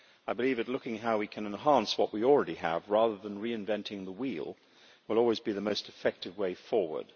I believe that looking at how we can enhance what we already have, rather than reinventing the wheel, will always be the most effective way forward.